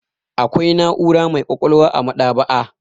Akwai na'ura mai ƙwaƙwalwa a maɗ'aba'a.